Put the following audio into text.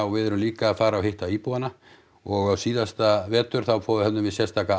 við erum líka að fara og hitta íbúana og síðasta vetur þá höfðum við sérstaka